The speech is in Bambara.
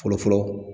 Fɔlɔ fɔlɔ